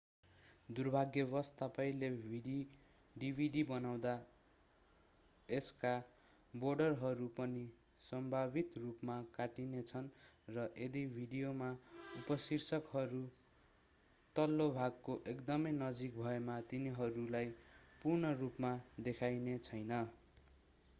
दुर्भाग्यवश तपाईंले डिभिडि बनाउँदा यसका बोर्डरहरू पनि सम्भावित रूपमा काटिनेछन् र यदि भिडियोमा उपशीर्षकहरू तल्लो भागको एकदमै नजिक भएमा तिनीहरूलाई पूर्ण रूपमा देखाइनेछैन